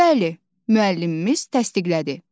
Bəli, müəllimimiz təsdiqlədi.